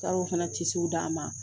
Taara o fana tisiw di a ma